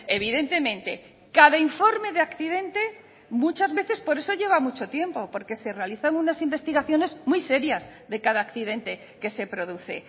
evidentemente cada informe de accidente muchas veces por eso lleva mucho tiempo porque se realizan unas investigaciones muy serias de cada accidente que se produce